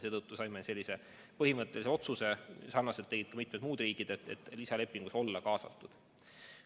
Seetõttu tegime sellise põhimõttelise otsuse – ja sarnaselt tegid ka mitmed muud riigid –, et lisalepingus olla kaasatud.